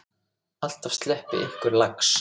Alltaf sleppi einhver lax.